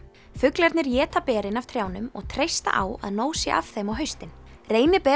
fuglarnir éta berin af trjánum og treysta á að nóg sé af þeim á haustin